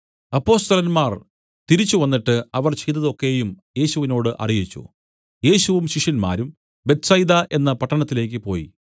അപ്പൊസ്തലന്മാർ തിരിച്ചുവന്നിട്ട് അവർ ചെയ്തതു ഒക്കെയും യേശുവിനോടു അറിയിച്ചു യേശുവും ശിഷ്യരും ബേത്ത്സയിദ എന്ന പട്ടണത്തിലേക്ക് പോയി